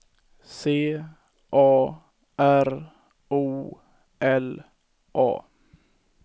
C A R O L A